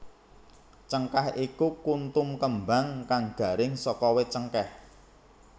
Cengkèh iku kuntum kembang kang garing saka wit cengkèh